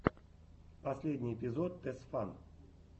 последний эпизод тесфан